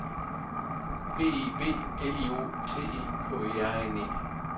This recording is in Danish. B I B L I O T E K E R N E